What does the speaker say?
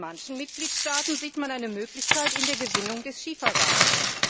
Und in manchen Mitgliedstaaten sieht man eine Möglichkeit in der Gewinnung von Schiefergas.